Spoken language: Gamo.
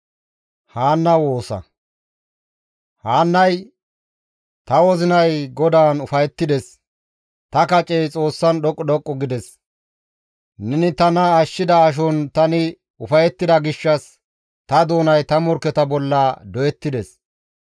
Haannay, «Ta wozinay GODAAN ufayettides; ta kacey Xoossan dhoqqu dhoqqu gides; neni tana ashshida ashon tani ufayettida gishshas ta doonay ta morkketa bolla doyettides.